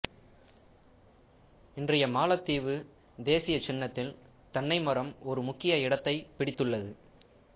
இன்றைய மாலத்தீவு தேசிய சின்னத்தில் தென்னை மரம் ஒரு முக்கிய இடத்தைப் பிடித்துள்ளது